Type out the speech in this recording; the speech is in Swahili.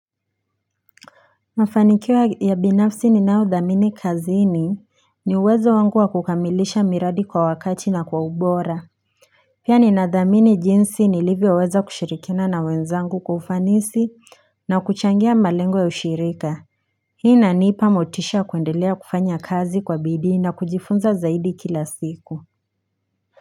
Mafanikio ya binafsi ninao dhamini kazini, ni uwezo wangu wa kukamilisha miradi kwa wakati na kwa ubora Pia nina dhamini jinsi nilivyo weza kushirikina na wenzangu kwa ufanisi na kuchangia malengo ya ushirika Hii inanipa motisha kuendelea kufanya kazi kwa bidii na kujifunza zaidi kila siku.